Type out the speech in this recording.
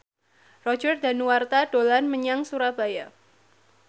Roger Danuarta dolan menyang Surabaya